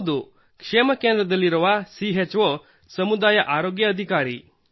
ಹೌದು ಕ್ಷೇಮ ಕೇಂದ್ರದಲ್ಲಿರುವ ಸಿಹೆಚ್ ಓ ಸಮುದಾಯ ಆರೋಗ್ಯ ಅಧಿಕಾರಿ